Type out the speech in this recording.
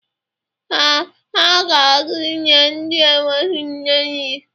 Ee, ha ga-aga inye ndị enweghi nne nri.